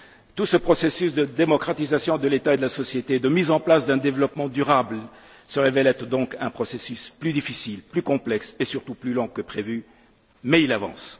Tout ce processus de démocratisation de l'État et de la société, de mise en place d'un développement durable se révèle être donc plus difficile, plus complexe et surtout plus long que prévu, mais il avance.